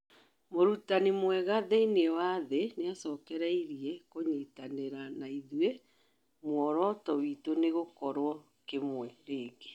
Mũrũtanĩ mwega thĩinĩ wa thĩ nĩacokereĩrĩe kũnyĩtanĩra naĩthũĩ, mũoroto witũ nĩ gũkorwo kĩmwe rĩngi